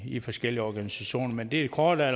i forskellige organisationer men det korte af